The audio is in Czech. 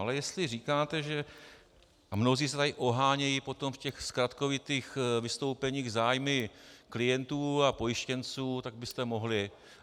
Ale jestli říkáte - a mnozí se tady ohánějí potom v těch zkratkovitých vystoupeních zájmy klientů a pojištěnců, tak byste mohli...